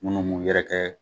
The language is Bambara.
Num mun yɛrɛ kɛ